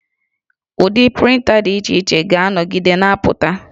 Ụdị prịnta dị iche iche ga-anọgide na-apụta